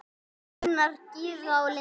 Þínar Gyða og Linda.